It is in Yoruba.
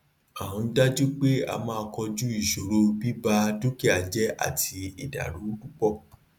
a ń dajú pé a máa koju ìṣòro bíba dúkià jẹ àti ìdàrúpọ